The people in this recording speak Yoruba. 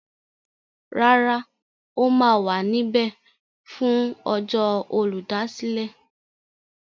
Rárá, ó ma wà níbẹ̀ fún ọjọ́ Olùdásílẹ̀.